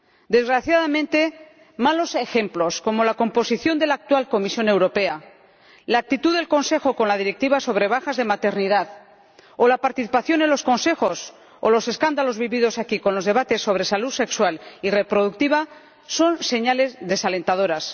Desgraciadamente, malos ejemplos como la composición de la actual Comisión Europea, la actitud del Consejo con la Directiva sobre bajas de maternidad o la participación en los consejos o los escándalos vividos aquí con los debates sobre salud sexual y reproductiva son señales desalentadoras.